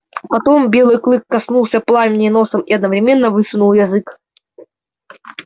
потом белый клык коснулся пламени носом и одновременно высунул язык